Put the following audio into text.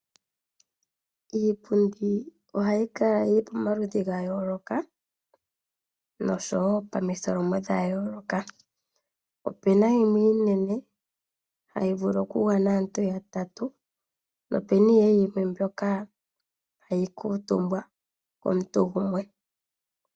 Iipundi ohayi kala yi li pamaludhi ga yooloka noshowo pomitholomo dha yooloka. Opu na yimwe iinene hayi vulu okugwana aantu yatatu nopu na mbyoka hayi kuutumbwa komuntu gumwe.